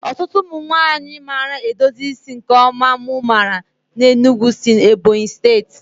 Ọtụtụ ụmụ nwanyị maara edozi isi nke ọma mụ maara n'Enugu si Ebonyi steeti